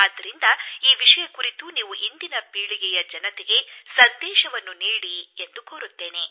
ಆದ್ದರಿಂದ ಈ ವಿಷಯದ ಬಗ್ಗೆ ನೀವು ಇಂದಿನ ಯುವ ಪೀಳಿಗೆಗೆ ಏನಾದರೂ ಹೇಳಿ ಎಂದು ಕೋರುತ್ತೇನೆ